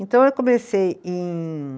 Então, eu comecei em